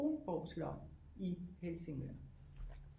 Kronborg slot i Helsingør